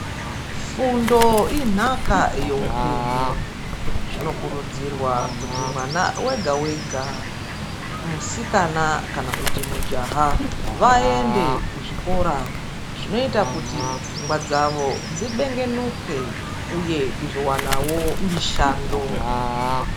Fundo inhaka yeupenyu. Zvino kurudzirwa kuti mwana wega wega musikana kana kuti mujaha vaende kuzvikora zvinoita kuti pfungwa dzavo dzibengenuke uye kuzowanawo mushando.